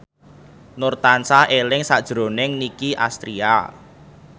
Nur tansah eling sakjroning Nicky Astria